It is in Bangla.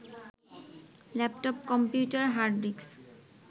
ল্যাপটপ, কম্পিউটারের হার্ডডিস্ক